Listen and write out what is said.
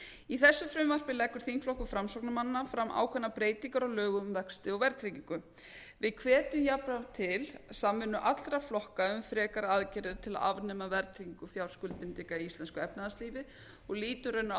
í þessu frumvarpi leggur þingflokkur framsóknarmanna fram ákveðnar breytingar á lögum um vexti og verðtryggingu við hvetjum jafnframt til samvinnu allra flokka um frekari aðgerðir til að afnema verðtryggingu fjárskuldbindinga í íslensku efnahagslífi og lítum raunar á